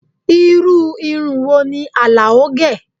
Irú irun wo ni Alao gẹ?